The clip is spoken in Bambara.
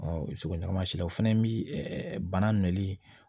sogomasilaw o fɛnɛ bi ɛ bana n'i